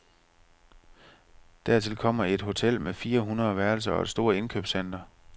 Dertil kommer et hotel med fire hundrede værelser og et stort indkøbscenter.